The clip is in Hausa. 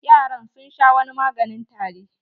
Yaran sun sha wani maganin tari.